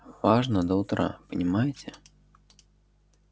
важно до утра понимаете